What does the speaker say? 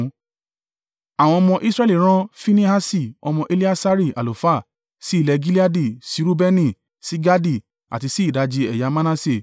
Àwọn ọmọ Israẹli rán Finehasi ọmọ Eleasari àlùfáà, sí ilẹ̀ Gileadi, sí Reubeni, sí Gadi àti sí ìdajì ẹ̀yà Manase.